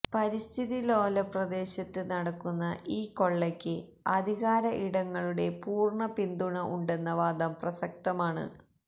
പരിസ്ഥിതി ലോലപ്രദേശത്ത് നടക്കുന്ന ഈ കൊള്ളക്ക് അധികാര ഇടങ്ങളുടെ പൂര്ണ്ണ പിന്തുണ ഉണ്ടെന്ന വാദം പ്രസക്തമാണ്